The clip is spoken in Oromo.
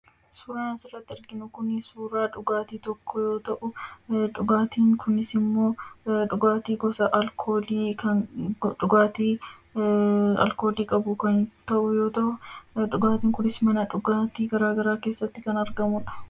Suuraan asirratti arginu kun suuraa dhugaatii tokkoo yoo ta'u, dhugaatiin kunisimmoo, dhugaatii gosa alkoolii kan dhugaatii aalkoolii qabu kan ta'u yoo ta'u, dhugaatiin kunis mana dhugaatii garagaraa keesaatti kan argamudha.